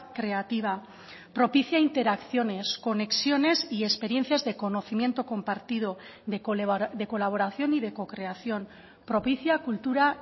creativa propicia interacciones conexiones y experiencias de conocimiento compartido de colaboración y de co creación propicia cultura